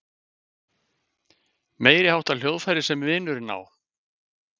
Meiriháttar hljóðfæri sem vinurinn á.